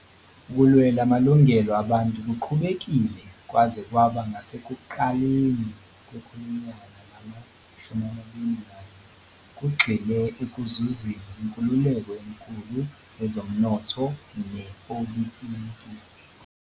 Ukulwela amalungelo abantu kuqhubekile kwaze kwaba ngasekuqaleni kwekhulunyaka lama-21, kugxile ekuzuzeni inkululeko enkulu yezomnotho nepolitiki.